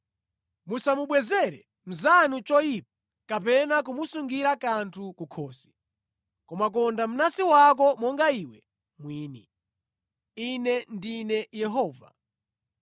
“ ‘Musamubwezere mnzanu choyipa kapena kumusungira kanthu kunkhosi, koma konda mnansi wako monga iwe mwini. Ine ndine Yehova.